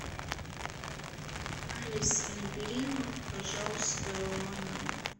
алиса набери пожалуйста мой номер